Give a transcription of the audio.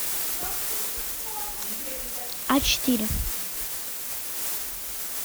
а четыре